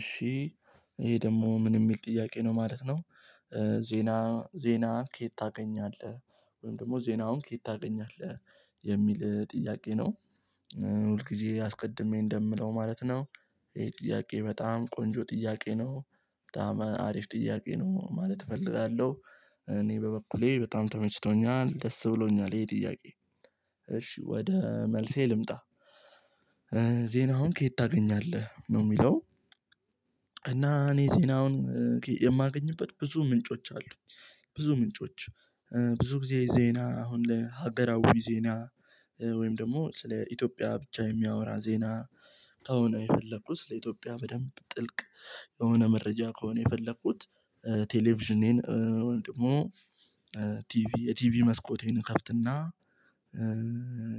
እሺ ይሄ ደግሞ ምን የሚል ጥያቄ ነው ማለት ነው። ዜና ዜና ከየት ታገኛለህ ወይም ደግሞ ዜናውን ከየት ታገኛለህ የሚል ጥያቄ ነው። ሁልጊዜ አስቀድሜ እንደምለው ማለት ነው። ይሄ ጥያቄ በጣም ቆንጆ ጥያቄ ነው በጣም አሪፍ ጥያቄ ነው ማለት እፈልጋለሁ። እኔ በበኩሌ በጣም ተመችቶኛል ደስ ብሎኛል ይሄ ጥያቄ እሺ ወደ መልሴ ልምጣ። ዜና አሁን ከየት ታገኛለህ ነው የሚለው እና እኔ ዜናውን የማገኝበት ብዙ ምንጮች አሉ። ብዙ ምንጮች ብዙ ጊዜ ዜና አሁን ለሀገራዊ ዜና ወይም ደግሞ ስለ ኢትዮጵያ ብቻ የሚያወራ ዜና። ከሆነ የፈለኩት ለስ ኢትዮጵያ በደንብ ጥልቅ የሆነ መረጃ ከሆነ የፈለኩት። ቴሌቪዥኔን ደግሞ ቲቪ የቲቪ መስኮቴን ከፍትና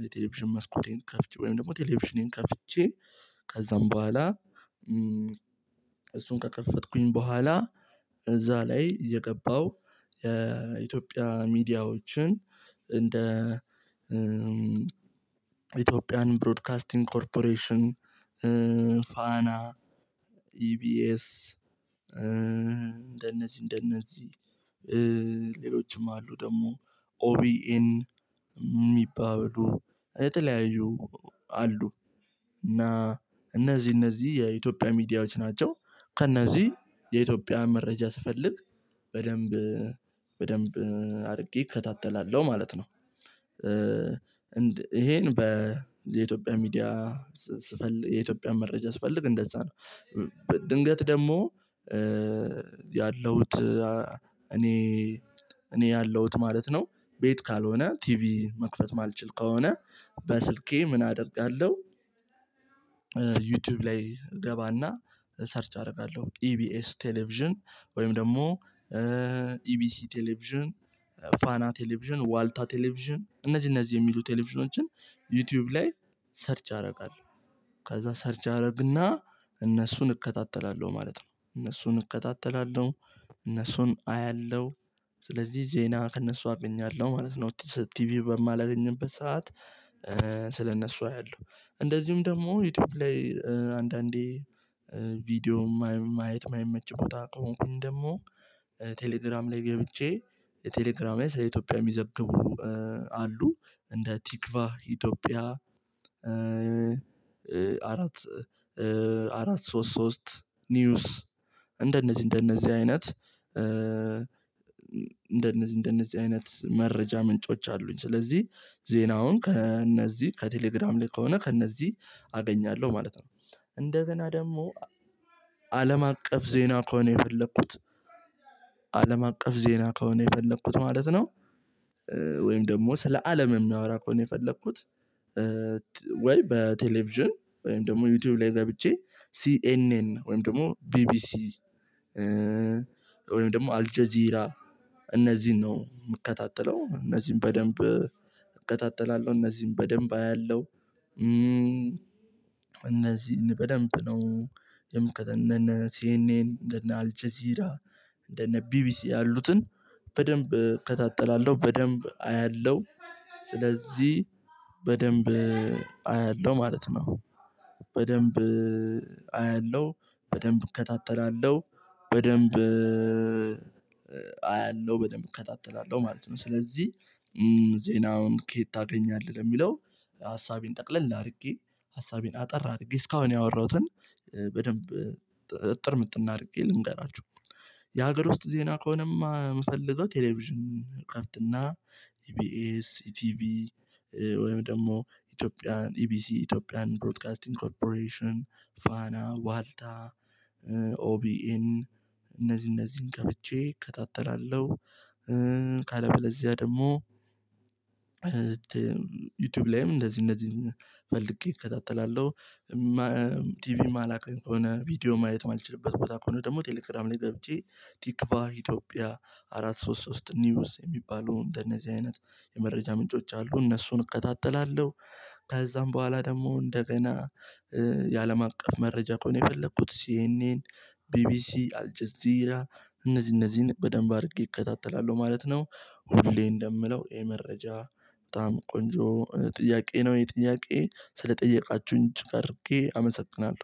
የቴሌቪዥን መስኮቴን ከፍቼ ወይም ደግሞ ቴሌቪዥኔን ከፍቼ ከዛም በኋላ እሱን ከከፈትኩኝ በኋላ እዛ ላይ የገባው የኢትዮጵያ ሚዲያዎችን እንደ ኢትዮጵያን ብሮድካስቲንግ ኮርፖሬሽን ፋና ኢቢኤስ እንደነዚህ እንደነዚህ ሌሎችም አሉ ደግሞ ኦቢን የሚባሉ የተለያዩ አሉ። እና እነዚህ እነዚህ የኢትዮጵያ ሚዲያዎች ናቸው ከእነዚህ የኢትዮጵያ መረጃ ስፈልግ በደንብ በደንብ አድርጌ እከታተላለሁ ማለት ነው። ይሄን በኢትዮጵያ ሚዲያ ስፈልግ የኢትዮጵያ መረጃ ስፈልግ እንደዛ ነው። ድንገት ደግሞ ያለውት እኔ እኔ ያለውት ማለት ነው። ቤት ካልሆነ ቲቪ መክፈት ማልችል ከሆነ በስልኬ ምን አደርጋለሁ? ዩቲዩብ ላይ እገባና ሰርች አደርጋለሁ ኢቢኤስ ቴሌቪዥን ወይም ደግሞ ኢቢሲ ቴሌቪዥን ፋና ቴሌቪዥን ዋልታ ቴሌቪዥን እነዚህ እነዚህ የሚሉ ቴሌቪዥኖችን ዩቲዩብ ላይ ሰርች አደርጋለሁ። ከዛ ሰርች አደርግና እነሱን እከታተላለሁ ማለት ነው እነሱን እከታተላለሁ እነሱን አያለሁ ስለዚህ ዜና ከእነሱ አገኛለሁ ማለት ነው። ቲቪ በማላገኝበት ሰዓት ስለእነሱ አያለሁ እንደዚሁም ደግሞ ዩቲዩብ ላይ አንዳንዴ ቪዲዮ ማየት የማይመች ቦታ ከሆንኩኝ ደግሞ ቴሌግራም ላይ ገብቼ። ቴሌግራም ላይ ስለ ኢትዮጵያ የሚዘግቡ አሉ እንደ ቲክቫ ኢትዮጵያ አራት አራት ሶስት ሶስት ኒውስ እንደነዚህ እንደነዚህ አይነት እንደነዚህ እንደነዚህ አይነት መረጃ ምንጮች አሉኝ ስለዚህ ዜናውን ከእነዚህ ከቴሌግራም ላይ ከሆነ ከእነዚህ አገኛለሁ ማለት ነው። እንደገና ደግሞ አለም አቀፍ ዜና ከሆነ የፈለኩት አለም አቀፍ ዜና ከሆነ የፈለኩት ማለት ነው። ወይም ደግሞ ስለ አለም የሚያወራ ከሆነ የፈለኩት ወይ በቴሌቪዥን ወይም ደግሞ ዩቲዩብ ላይ ገብቼ ሲኤንኤን ወይም ደግሞ ቢቢሲ ወይም ደግሞ አልጀዚራ እነዚህን ነው የምከታተለው እነዚህን በደንብ እከታተላለሁ እነዚህን በደንብ አያለሁ። እነዚህን በደንብ ነው የምከታተለው አነ ሲኤንኤን እንደነ አልቼዚራ እንደነ ቢቢሲ ያሉትን በደንብ እከታተላለሁ በደንብ አያለሁ ስለዚህ በደንብ አያለሁ ማለት ነው። በደንብ አያለሁ በደንብ እከታተላለሁ በደንብ አያለሁ በደንብ እከታተላለሁ ማለት ነው። ስለዚህ ዜናውን ከየት ታገኛለህ ለሚለው ሀሳቤን ጠቅለል አድርጌ ሀሳቤን አጠር አድርጌ እስካሁን ያወራሁትን በደንብ እጥር ምጥን አድርጌ ልንገራችሁ። የሀገር ውስጥ ዜና ከሆነማ የምፈልገው ቴሌቪዥን እከፍትና ኢቢኤስ ኢቲቪ ወይም ደግሞ ኢትዮጵያን ኢቢሲ ኢትዮጵያን ብሮድካስት ኮርፖሬሽን ፋና ዋልታ ኦቢኤን እነዚህ እነዚህን ገብቼ እከታተላለሁ። ካለበለዚያ ደግሞ ዩቲዩብ ላይም እንደዚህ እንደዚህ ፈልጌ እከታተላለሁ። ቲቪም እማላገኝ ከሆነ ቪዲዮ ማየት እማልችልበት ቦታ ከሆነ ደግሞ ቴሌግራም ላይ ገብቼ ቲክቫ ኢትዮጵያ አራት ሶስት ሶስት ኒውስ የሚባለው እንደነዚህ አይነት የመረጃ ምንጮች አሉ እነሱን እከታተላለሁ። ከዛም በኋላ ደግሞ እንደገና የአለም አቀፍ መረጃ ከሆነ የፈለኩት ሲኤንኤን ቢቢሲ አልጀዚራ እነዚህ እነዚህን በደንብ አድርጌ እከታተላለሁ ማለት ነው። ሁሌ እንደምለው ይሄ መረጃ በጣም ቆንጆ ጥያቄ ነው ይሄ ጥያቄ ስለጠየቃችሁኝ እጅግ አድርጌ አመሰግናለሁ።